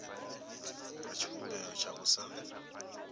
nga tshivhumbeo tsha u sa